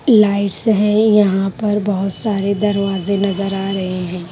Lights हैं यहाँ पर बहुत सारे दरवाजे नजर आ रहे हैं।